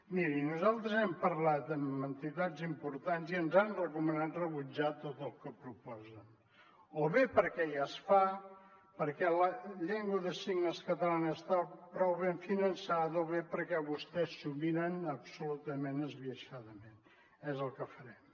miri nosaltres hem parlat amb entitats importants i ens han recomanat rebutjar tot el que proposen o bé perquè ja es fa perquè la llengua de signes catalana està prou ben finançada o bé perquè vostès s’ho miren absolutament esbiaixadament és el que farem